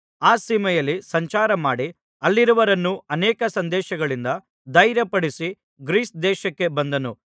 ಆ ಸೀಮೆಯಲ್ಲಿ ಸಂಚಾರಮಾಡಿ ಅಲ್ಲಿಯವರನ್ನು ಅನೇಕ ಸಂದೇಶಗಳಿಂದ ಧೈರ್ಯಪಡಿಸಿ ಗ್ರೀಸ್ ದೇಶಕ್ಕೆ ಬಂದನು